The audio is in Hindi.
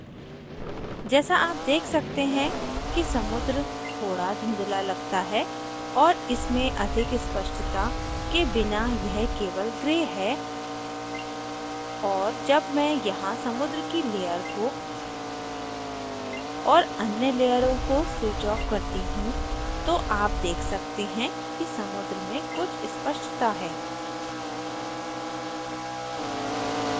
जैसा आप देख सकते हैं कि समुद्र थोड़ा धुंधला लगता है और इसमें अधिक स्पष्टता के बिना यह केवल gray है और जब मैं यहाँ समुद्र की layer को और अन्य लेयरों को switch off करती हूँ तो आप देख सकते हैं कि समुद्र में कुछ स्पष्टता है